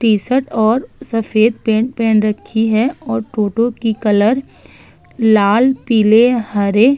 T-shirt और सफ़ेद pant पेहेन रखी है और टोटो की कलर लाल पीले हरे --